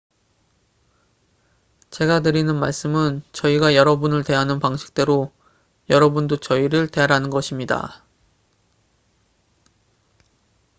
제가 드리는 말씀은 저희가 여러분을 대하는 방식대로 여러분도 저희를 대하라는 것입니다